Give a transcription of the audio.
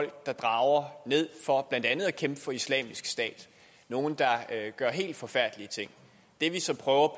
der drager ned for blandt andet at kæmpe for islamisk stat nogle der gør helt forfærdelige ting det vi så prøver